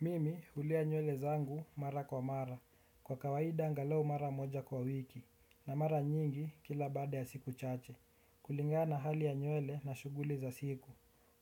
Mimi hulea nywele zangu mara kwa mara. Kwa kawaida angalau mara moja kwa wiki. Na mara nyingi kila baada ya siku chache. Kulingana na hali ya nywele na shughuli za siku.